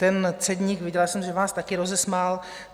Ten cedník - viděla jsem, že vás taky rozesmál.